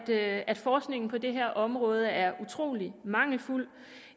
at at forskningen på det her område er utrolig mangelfuld